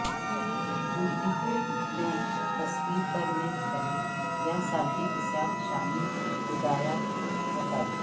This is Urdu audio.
ڈپلیکیٹ میں تصویر پرنٹ کریں یا سانچے کے ساتھ شامل ہدایات کے مطابق